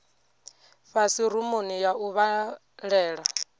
fhasi rumuni ya u vhalela